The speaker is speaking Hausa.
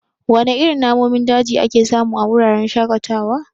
Wana irin namomin daji ake samu a wuraren shaƙatawa?